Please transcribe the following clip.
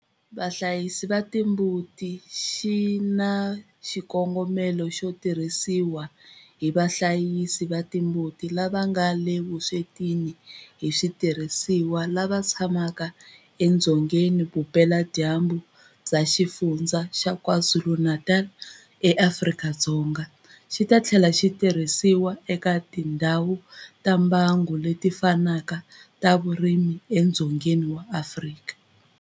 Vahlayisi va timbuti xi nga na xikongomelo xo tirhisiwa hi vahlayisi va timbuti lava nga le vuswetini hi switirhisiwa lava tshamaka edzonga vupeladyambu bya Xifundzha xa KwaZulu-Natal eAfrika-Dzonga, xi ta tlhela xi tirhisiwa eka tindhawu ta mbango leti fanaka ta vurimi edzongeni wa Afrika.